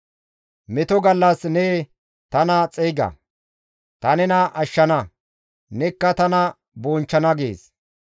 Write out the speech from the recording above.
Meto gallas ne tana xeyga; ta nena ashshana; nekka tana bonchchana» gees.